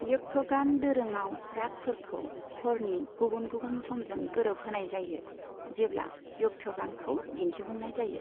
यक्षगान दोरोङाव रागफोरखौ हरनि गुबुन गुबुन समजों गोरोबहोनाय जायो, जेब्ला यक्षगानखौ दिन्थिफुंनाय जायो।